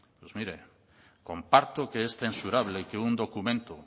pues mire comparto que es censurable que un documento